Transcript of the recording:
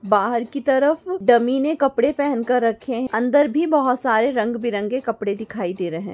बाहर कि तरफ डम्मी ने कपडे पेहन के रखे है अंदर भी बहोत सारे रंग बे रंगी कपडे दिखाई दे रहे है |